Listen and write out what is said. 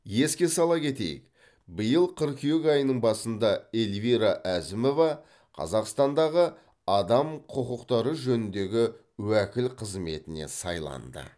еске сала кетейік биыл қыркүйек айының басында эльвира әзімова қазақстандағы адам құқықтары жөніндегі уәкіл қызметіне сайланды